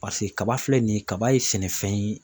kaba filɛ nin ye kaba ye sɛnɛfɛn ye